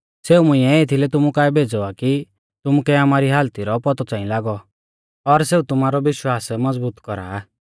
सेऊ मुंइऐ एथीलै तुमु काऐ भेज़ौ आ कि तुमुकै आमारी हालती रौ पौतौ च़ांई लागौ और सेऊ तुमारौ विश्वास मज़बूत कौरा